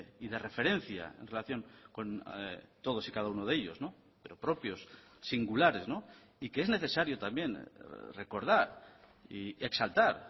y de referencia en relación con todos y cada uno de ellos pero propios singulares y que es necesario también recordar y exaltar